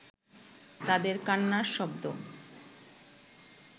তাঁদের কান্নার শব্দ